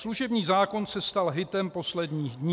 "Služební zákon se stal hitem posledních dnů.